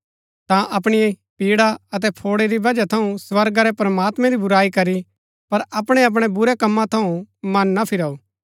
ता अपणी पीड़ा अतै फौड़ै री वजह थऊँ स्वर्गा रै प्रमात्मैं री बुराई करी पर अपणै अपणै बुरै कम्मा थऊँ मन ना फिराऊ